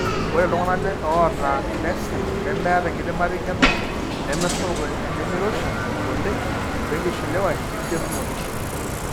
Ore iltung'anak oata neseh nemeeta enkidimata eng'eno nemesapuk oenemeiroshi oleng oenkishiliwa enchetunoto.